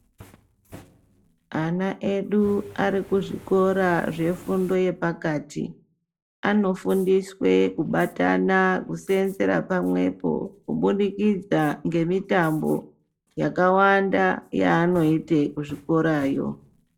Ana edu ari kuzvikora zvefundo yepakati. Anofundiswe kubatana, kuseenzera pamwepo kubudikidza ngemitambo yakawanda yaanoite kuzvikorayo.